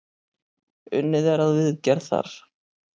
Unnið er að viðgerð þar.